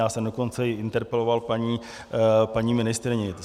Já jsem dokonce i interpeloval paní ministryni.